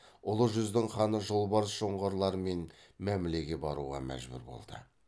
ұлы жүздің ханы жолбарыс жоңғарлармен мәмлеге баруға мәжбүр болды